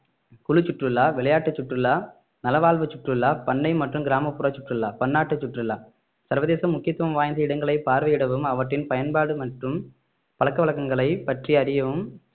குழு சுற்றுலா விளையாட்டு சுற்றுலா நலவாழ்வு சுற்றுலா பண்ணை மற்றும் கிராமப்புற சுற்றுலா பன்னாட்டு சுற்றுலா சர்வதேச முக்கியத்துவம் வாய்ந்த இடங்களை பார்வையிடவும் அவற்றின் பயன்பாடு மற்றும் பழக்க வழக்கங்களை பற்றி அறியவும்